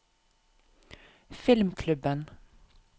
filmklubben